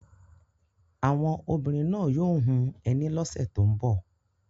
Àwọn obìnrin náà yóò hun ẹní lọ́sẹ̀ tó ń bọ̀.